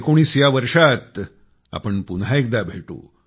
2019 या वर्षात आपण पुन्हा एकदा भेटू